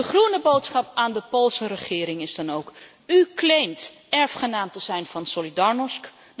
De groene boodschap aan de Poolse regering is dan ook U claimt erfgenaam te zijn van Solidarnosc.